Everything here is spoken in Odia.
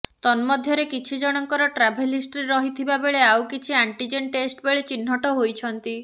ତନ୍ମଧ୍ୟରେ କିଛି ଜଣଙ୍କର ଟ୍ରାଭେଲ୍ ହିଷ୍ଟ୍ରି ରହିଥିବା ବେଳେ ଆଉ କିଛି ଆଣ୍ଟିଜେନ୍ ଟେଷ୍ଟ ବେଳେ ଚିହ୍ନଟ ହୋଇଛନ୍ତି